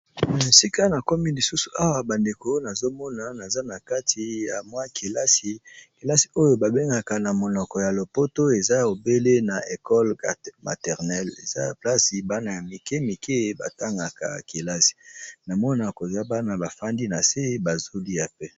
esika na komi lisusu awa bandeko nazomona naza na kati ya mwa kelasi kelasi oyo babengaka na monoko ya lopoto eza ebele na ecole maternel eza placi bana ya mike mike batangaka kelasi na mwana kozwa bana bafandi na se bazolia pe